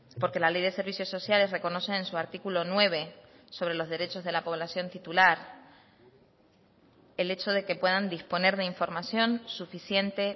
porque la ley de servicios sociales reconoce en su artículo nueve sobre los derechos de la población titular el hecho de que puedan disponer de información suficiente